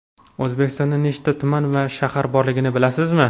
O‘zbekistonda nechta tuman va shahar borligini bilasizmi?.